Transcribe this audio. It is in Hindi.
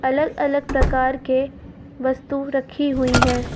अलग-अलग प्रकार के वस्तु रखी हुईं हैं।